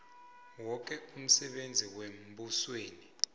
woke umsebenzi wembusweni